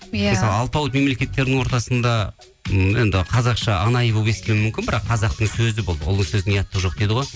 иә мысалы алпауыт мемлекеттердің ортасында м енді қазақша анайы болып естілу мүмкін бірақ қазақтың сөзі бұл ұлы сөздің ұяттығы жоқ дейді ғой